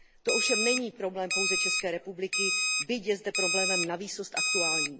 To ovšem není problém pouze České republiky, byť je zde problémem navýsost aktuálním.